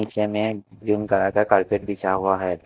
नीचे में green colour का कारपेट बिछा हुआ है।